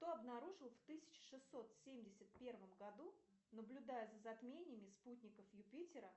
кто обнаружил в тысяча шестьсот семьдесят первом году наблюдая за затмениями спутников юпитера